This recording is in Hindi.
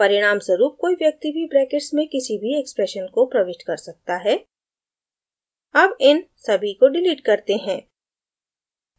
परिणामस्वरूप कोई व्यक्ति भी ब्रैकेट्स में किसी भी expression को प्रविष्ट कर सकता है as इन सभी को डिलीट करते हैं